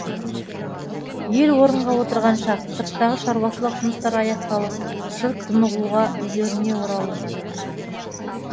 ел орынға отырған шақ сырттағы шаруашылық жұмыстар аяқталып жұрт тынығуға үйлеріне оралу